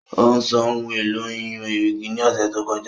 Ó sọ ohun èlò ìyún erìgì ní ọ̀sẹ̀ tó kọjá